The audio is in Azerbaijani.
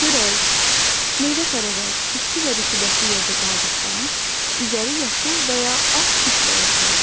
Çörək, meyvə tərəvəz isti və rütubətli yerdə qaldıqda üzəri yaşıl və ya ağ kiflə örtülür.